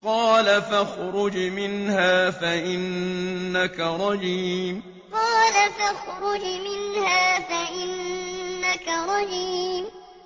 قَالَ فَاخْرُجْ مِنْهَا فَإِنَّكَ رَجِيمٌ قَالَ فَاخْرُجْ مِنْهَا فَإِنَّكَ رَجِيمٌ